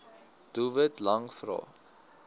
doelwit lang vrae